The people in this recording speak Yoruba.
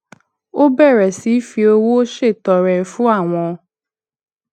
ó bèrè sí fi owó ṣètọrẹ fún àwọn